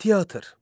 Teatr.